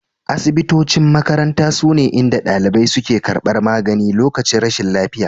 Asibitocin makaranta sune inda dalibai suke karbar magani lokacin rashin lafiya